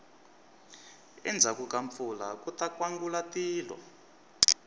endzhaku ka mpfula kuta nkwangulatilo